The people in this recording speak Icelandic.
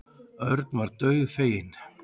Örn varð dauðfeginn.